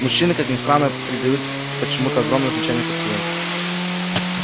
мужчины как ни странно придают почему-то огромное значение поцелуям